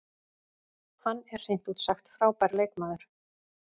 Hann er hreint út sagt frábær leikmaður.